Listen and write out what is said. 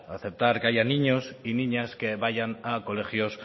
aceptar que haya niños y niñas que vayan a colegios